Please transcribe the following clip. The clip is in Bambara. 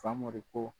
Famori ko